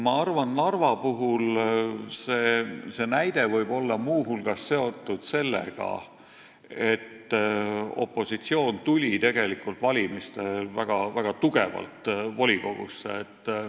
Ma arvan, et Narvas võib see olla muu hulgas seotud sellega, et opositsioon tuli valimiste tulemusel väga tugevalt volikogusse.